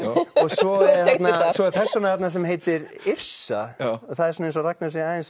svo er svo er persóna þarna sem heitir Yrsa það er eins og Ragnar sé aðeins